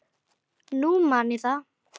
Nú man ég það!